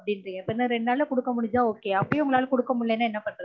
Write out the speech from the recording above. இன்னும் எத்தன ரெண்டு நாள்ள குடுக்க முடிஞ்சா okay அப்பயும் உங்களலா குடுக்க முடியலனா என்ன பண்றது